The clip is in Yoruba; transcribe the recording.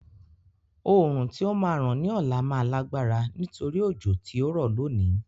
Oòrùn tí ó máa ràn ní ọ̀la máa lágbára nítorí òjò tí ó rọ̀ lónìí.